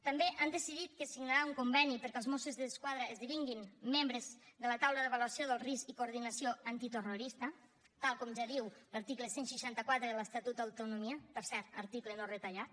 també han decidit que es signarà un conveni perquè els mossos d’esquadra esdevinguin membres de la taula d’avaluació del risc i coordinació antiterrorista tal com ja diu l’article cent i seixanta quatre de l’estatut d’autonomia per cert article no retallat